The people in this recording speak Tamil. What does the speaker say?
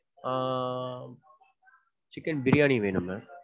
ஆஹ் chicken பிரியாணி வேணும் ma'am.